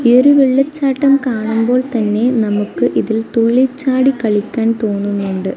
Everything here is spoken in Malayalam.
ഈയൊരു വെള്ളച്ചാട്ടം കാണുമ്പോൾ തന്നെ നമുക്കിതിൽ തുള്ളിച്ചാടി കളിക്കാൻ തോന്നുന്നുണ്ട്.